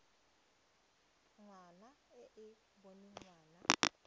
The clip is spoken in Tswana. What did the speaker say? ngwana e e boneng ngwana